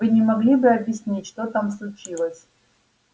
вы не могли бы объяснить что там случилось